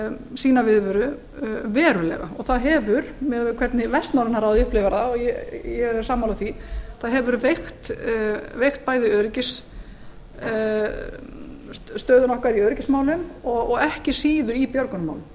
sína viðveru verulega og það hefur miðað við hvernig vestnorræna ráðið upplifir það og ég er sammála því það hefur veikt bæði stöðuna okkar í öryggismálum og ekki síður í björgunarmálum